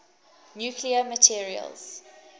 nuclear materials